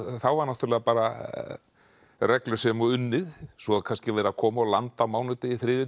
þá var bara reglusemi og unnið svo er kannski verið að koma og landa á mánudegi þriðjudegi